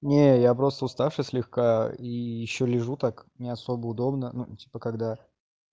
нет я просто уставший слегка и ещё лежу так не особо удобно ну типа когда